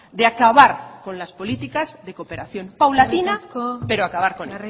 de acabar con las políticas de cooperación paulatina pero acabar con